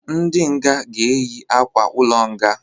Ndị nga ga eyi akwa-ulo nga